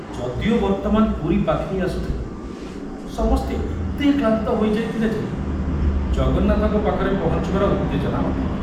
ଯଦିଓ ବର୍ତମାନ ପୁରୀ ପାଖେଇ ଆସୁଥିଲା, ସମସ୍ତେ ଏତେ କ୍ଳାନ୍ତ ହୋଇଯାଇଥିଲେ ଯେ ଜଗନ୍ନାଥଙ୍କ ପାଖରେ ପହଞ୍ଚିବାର ଉତ୍ତେଜନା ନଥିଲା।